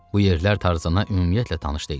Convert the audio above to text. Bu yerlər Tarzana ümumiyyətlə tanış deyildi.